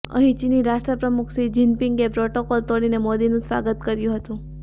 અહીં ચીની રાષ્ટ્રપ્રમુખ શી જિનપિંગે પ્રોટોકોલ તોડીને મોદીનું સ્વાગત કર્યું હતું